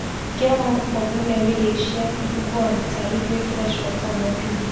e get one group of women wey dey share free ugu and bitter leaf wey fresh for town everi week